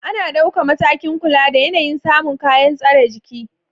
Ana dauka matakin kula da yanayin samun kayan tsare jiki